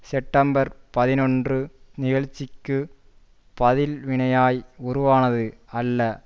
September பதினொன்று நிகழ்ச்சிக்கு பதில் வினையாய் உருவானது அல்ல